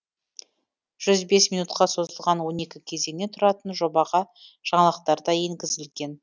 жүз бес минутқа созылатын он екі кезеңнен тұратын жобаға жаңалықтар да енгізілген